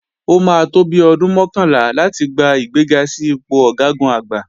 Ó máa tó bi ọdún mọ́kànlá láti gba ìgbéga sí ipò Ọ̀gágun-Àgbá